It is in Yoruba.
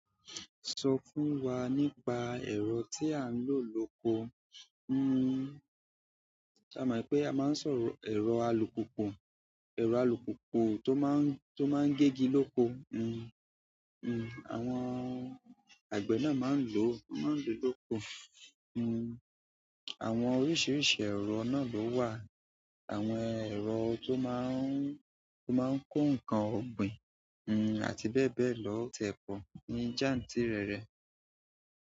Sọ fún wa nípa ẹ̀rọ tí a ń lò lóko. Hmm ṣe a mọ̀ pé a máa ń sọ ẹ̀rọ alùpùpù, ẹ̀rọ alùpùpù tó máa ń, tó máa ń gégi lóko. Hmm hmm àwọn àgbẹ̀ náà máa ń lò, máa ń lò lóko. Hmm àwọn oríṣiríṣi ẹ̀rọ náà ló wà, àwọn ẹ̀rọ tó máa ń, tó máa ń kó nǹkan ọ̀gbìn, hmm àti bẹ́ẹ̀ bẹ́ẹ̀ lọ tiẹ̀ pọ̀ ní jáǹtírẹrẹ.